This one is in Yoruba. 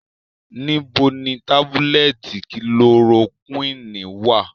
Nibo ni tabulẹti kilorokwini wa?